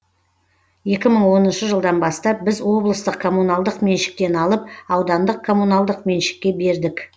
екі мың оныншы жылдан бастап біз облыстық коммуналдық меншіктен алып аудандық коммуналдық меншікке бердік